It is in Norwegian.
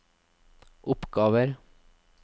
oppgaver